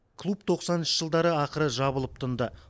клуб тоқсаныншы жылдары ақыры жабылып тынды